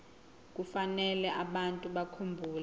kufanele abantu bakhumbule